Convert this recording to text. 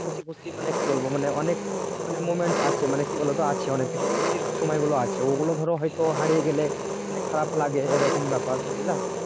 করছি মানে কি বলবো মানে অনেক মানে moments আছে মানে কি বলবো তো আছে মানে সময় গুলো হয়তো আছে ওগুলো ধরো হারিয়ে গেলে মানে খারাপ লাগে এরকম ব্যাপার